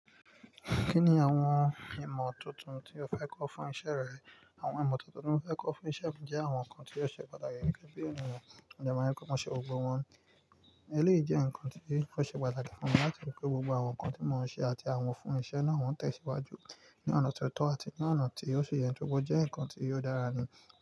Kí ni àwọn ìmọ̀ tuntun tí o fẹ́ kọ́ fún iṣẹ́ rẹ? Àwọn ìmọ̀ tuntun tí mo fẹ́ kọ́ fún iṣẹ́ mi jẹ́ àwọn nǹkan tí ó ṣe pàtàkì gẹ́gẹ́ bí ènìyàn, mo dẹ ma ripé mo ṣe ògo wọn. Eléyìí jẹ́ nǹkan tí o ṣe pàtàkì fúnmi láti rí pé gbogbo àwọn nǹkan tí mò ń ṣe àti àwọn fún ìṣe náà ó tẹ̀síwájú ní ọ̀nà tó tọ́ àti ní ọ̀nà tí ó ṣi yẹ, tóri pọ jẹ́ nǹkan tí óò dára ní.